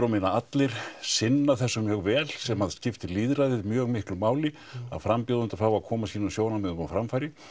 og minna allir sinna þessu mjög vel sem að skiptir lýðræðið mjög miklu máli að frambjóðendur fái að koma sínum sjónarmiðum á framfæri